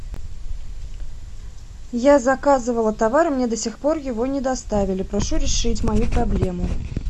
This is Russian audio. я заказывала товар мне до сих пор его не доставили прошу решить мою проблему